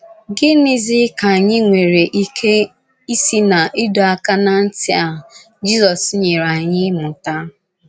Gịnịzi ka anyị nwere ike isi n’ịdọ aka ná ntị a, Jizọs nyere anyị mụta?